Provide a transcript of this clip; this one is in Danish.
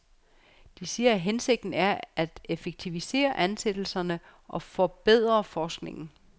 De siger, at hensigten er at effektivisere ansættelserne og forbedre forskningen.